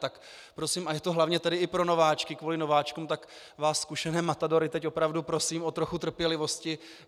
Tak prosím - a je to hlavně tedy i pro nováčky, kvůli nováčkům - tak vás zkušené matadory teď opravdu prosím o trochu trpělivosti.